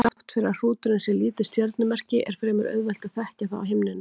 Þrátt fyrir að hrúturinn sé lítið stjörnumerki er fremur auðvelt að þekkja það á himninum.